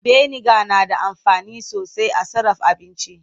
Biniga na da amfani sosai a sarraf aabinci.